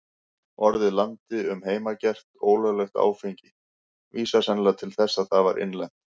Orðið landi um heimagert, ólöglegt áfengi, vísar sennilega til þess að það var innlent.